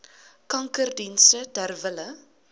kankerdienste ter wille